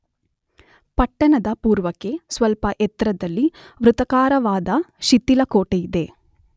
ಪಟ್ಟಣದ ಪೂರ್ವಕ್ಕೆ ಸ್ವಲ್ಪ ಎತ್ತರದಲ್ಲಿ ವೃತ್ತಾಕಾರವಾದ ಶಿಥಿಲ ಕೋಟೆಯಿದೆ.